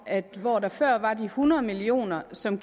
at hvor der før var de hundrede million kr som